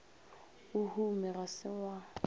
o hume ga se wa